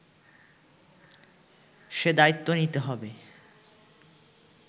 সে দায়িত্ব নিতে হবে